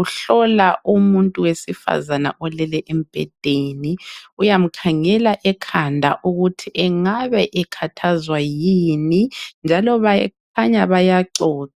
uhlola umuntu owesifazana olele embhedeni uyamkhangela ekhanda ukuthi angabe ekhathazwa yini njalo bakhanya bayaxoxa.